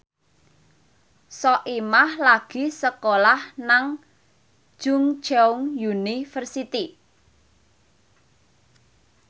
Soimah lagi sekolah nang Chungceong University